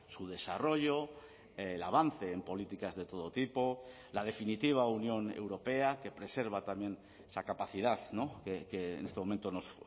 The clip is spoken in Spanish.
su desarrollo el avance en políticas de todo tipo la definitiva unión europea que preserva también esa capacidad que en este momento nos